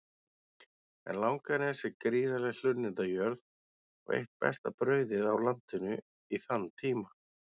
En Langanes er gríðarleg hlunnindajörð og eitt besta brauðið á landinu í þann tíma.